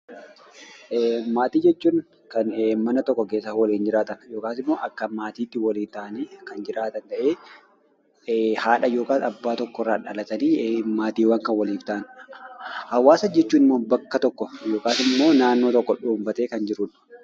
Maatii jechuun kan mana tokko keessa waliin jiraatan (akka maatiitti waliin ta'anii kan jiraatan) ta'ee haadha yookaan abbaa tokkorraa dhalatanii maatiiwwan kan waliif ta'an. Hawaasa jechuun immoo bakka tokko yookaan immoo naannoo tokko dhoobbatee kan jiru dha.